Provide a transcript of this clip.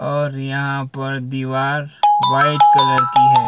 और यहां पर दीवार व्हाइट कलर की है।